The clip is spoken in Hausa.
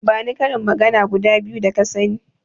Bani karin magana guda biyu da ka sani.